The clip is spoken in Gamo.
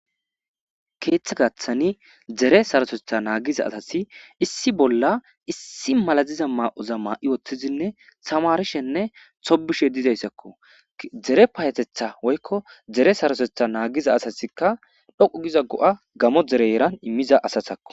Keeththa gaththani dzere sarosetha naagiza asasi issi bolla issi malaziza maa'oza maa'i woththizinne samarishenne hobishe dizayssakko dzere payetetha woykko dere sarosetha naagiza asasikka dhoqu giza go'a gamo dere yeran immiza asasakko